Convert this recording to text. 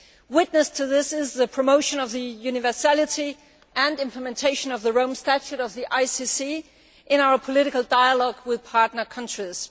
Witness to this is the promotion of the universality and implementation of the Rome Statute of the ICC in our political dialogue with partner countries.